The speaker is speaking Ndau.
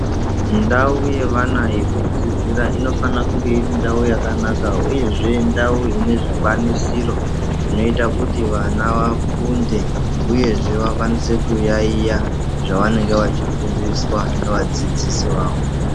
Ndau yevana yekudzidzira inofana kunge iri ndau yakanaka uyezve ndau ine zvikwanisiro zvinoita kuti vana vafunde uyezve vakwanise kuyaiya zvavanenge vachifundiswa nevadzidzisi vavo.